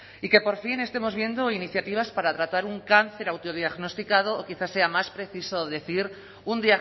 y que por fin estemos viendo iniciativas para tratar un cáncer autodiagnosticado o quizá sea más preciso decir un